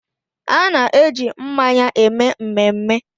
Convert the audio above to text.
A na-eji mmanya eme mmemme